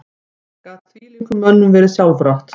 Gat þvílíkum mönnum verið sjálfrátt?